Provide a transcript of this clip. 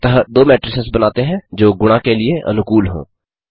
अतः दो मेट्रिसेस बनाते हैं जो गुणा के लिए अनुकूल हों